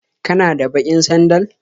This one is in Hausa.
Kana da baƙin sandal?